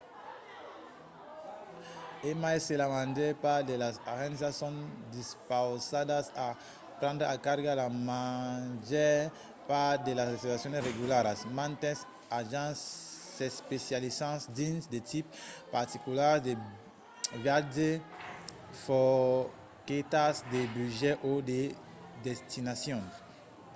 e mai se la màger part de las agéncias son dispausadas a prendre en carga la màger part de las reservacions regularas mantes agents s’especializan dins de tipes particulars de viatge forquetas de budget o de destinacions